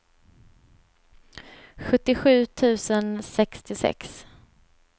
sjuttiosju tusen sextiosex